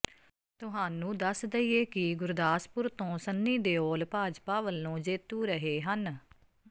ਤੁਹਾਨੂੰ ਦੱਸ ਦਈਏ ਕਿ ਗੁਰਦਾਸਪੁਰ ਤੋਂ ਸੰਨੀ ਦਿਓਲ ਭਾਜਪਾ ਵੱਲੋਂ ਜੇਤੂ ਰਹੇ ਹਨ